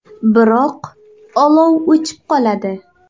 Biroq olov o‘chib qoladi.